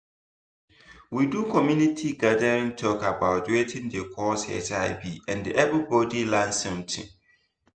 we do community gathering talk about watin dey cause hiv and everybody learn something.